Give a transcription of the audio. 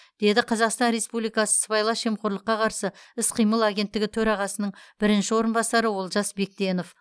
деді қазақстан республикасы сыбайлас жемқорлыққа қарсы іс қимыл агенттігі төрағасының бірінші орынбасары олжас бектенов